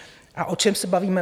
A o čem se bavíme?